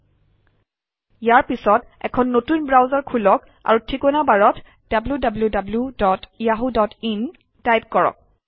ltPausegt ইয়াৰ পিছত এখন নতুন ব্ৰাউজাৰ খোলক আৰু ঠিকনা বাৰত wwwyahooin টাইপ কৰক